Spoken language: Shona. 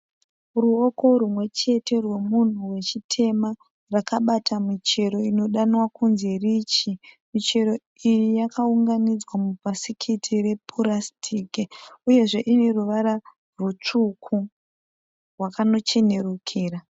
Ruoko rwumwechete rwemunhu wechitema. Rwakabata michero. Inodanwa kunzi richi. Muchero iyi yakaunganidzwa mubhasikiti repurasitiki, uyezve ineruvara rwutsvuku, rwakanochenerukira.